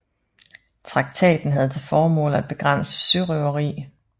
Traktaten havde til formål at begrænse sørøveri